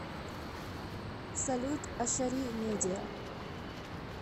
салют ашари медиа